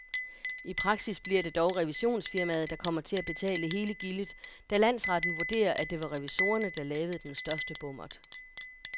I praksis bliver det dog revisionsfirmaet, der kommer til at betale hele gildet, da landsretten vurderer, at det var revisorerne, der lavede den største bommert.